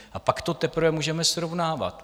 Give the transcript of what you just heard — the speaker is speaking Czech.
A pak to teprve můžeme srovnávat.